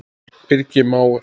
Birgir mágur.